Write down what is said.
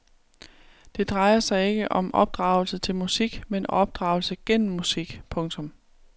Det drejer sig ikke om opdragelse til musik men opdragelse gennem musik. punktum